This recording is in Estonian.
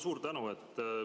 Suur tänu!